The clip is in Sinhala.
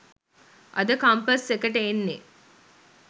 අද කම්පස් එකට එන්නෙ